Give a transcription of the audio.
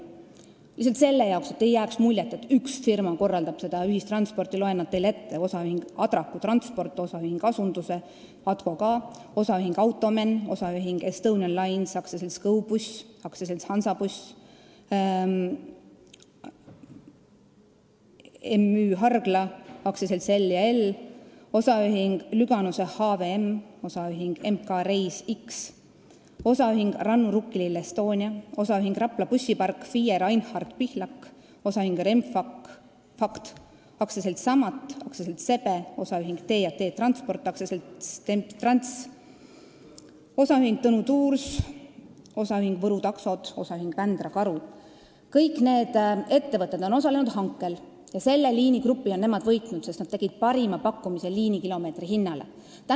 Lihtsalt selle jaoks, et ei jääks muljet, nagu seda korraldaks üks firma, loen nad teile ette: OÜ Adraku Transport, OÜ Asunduse, ATKO ka, OÜ Automen, OÜ Estonian Lines, AS GoBus, AS Hansabuss, MÜ Hargla, AS L&L, OÜ Lüganuse HVM, OÜ M.K. Reis-X, OÜ Rannu Rukkilill E.S.T., OÜ Rapla Bussipark, FIE Reinhald Pihlak, OÜ Remfakt, AS Samat, AS SEBE, OÜ T&T Transport, AS Temptrans, OÜ Tõnu Tours, OÜ Võru Taksod, OÜ Vändra Karu – kõik need ettevõtted on osalenud hankel ja selles liinigrupis on nad võitnud, sest nad tegid parima pakkumise liinikilomeetri hinna kohta.